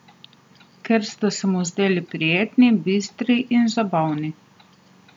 Ker sta se mu zdeli prijetni, bistri in zabavni.